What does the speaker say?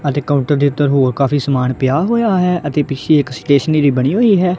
ਅਤੇ ਕਾਊਂਟਰ ਦੇ ਉੱਤੇ ਹੋਰ ਕਾਫੀ ਸਮਾਨ ਪਿਆ ਹੋਇਆ ਹੈ ਅਤੇ ਪਿੱਛੇ ਇੱਕ ਸਟੇਸ਼ਨਰੀ ਬਣੀ ਹੋਈ ਹੈ।